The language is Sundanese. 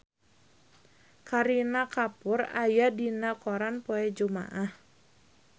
Kareena Kapoor aya dina koran poe Jumaah